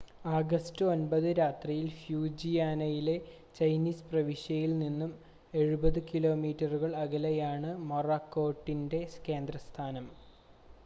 August 9 രാത്രിയിൽ ഫ്യൂജിയാനയിലെ Chinese പ്രവിശ്യയിൽ നിന്നും എഴുപത് കിലോമീറ്ററുകൾ അകലെയാണ് മൊറാക്കോട്ടിൻ്റെ കേന്ദ്രസ്ഥാനം